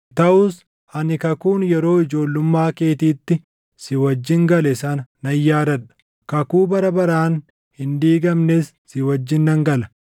Taʼus ani kakuun yeroo ijoollummaa keetiitti si wajjin gale sana nan yaadadha; kakuu bara baraan hin diigamnes si wajjin nan gala.